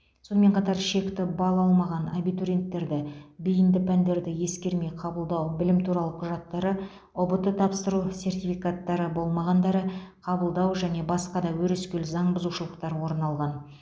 сонымен қатар шекті балл алмаған абитуриенттерді бейінді пәндерді ескермей қабылдау білім туралы құжаттары ұбт тапсыру сертификаттары болмағандары қабылдау және басқа да өрескел заң бұзушылықтар орын алған